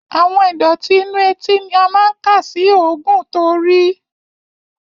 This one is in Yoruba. Àwọn ìdọ̀tí inú etí ni a máa ń kà sí òógùn to rìí.